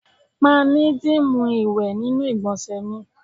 Ma ni dimu iwe ninu igbonse mi